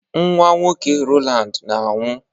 Nwa nwoke Rowland na-anwụ.